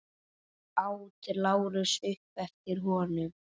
át Lárus upp eftir honum.